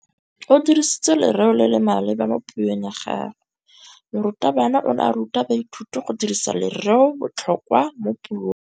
O dirisitse lerêo le le maleba mo puông ya gagwe. Morutabana o ne a ruta baithuti go dirisa lêrêôbotlhôkwa mo puong.